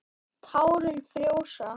Tárin frjósa.